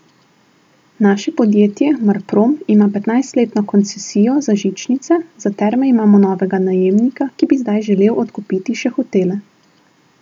Naše podjetje Marprom ima petnajstletno koncesijo za žičnice, za terme imamo novega najemnika, ki bi zdaj želel odkupiti še hotele.